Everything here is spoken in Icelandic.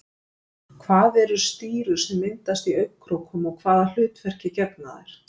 hvað eru stírur sem myndast í augnkrókum og hvaða hlutverki gegna þær